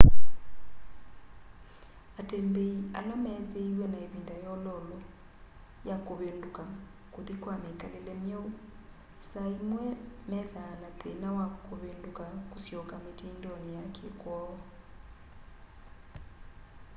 atembeĩ ala meethĩĩwe na ĩvĩnda yololo ya kũvĩndũka kũthĩ ka mĩkalĩle myeũ saa ĩmwe methaa na thĩna wakũvĩndũka kũsyoka mĩtĩndonĩ ya kĩkwoo